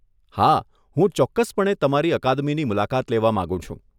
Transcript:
હા, હું ચોક્કસપણે તમારી અકાદમીની મુલાકાત લેવા માંગુ છું.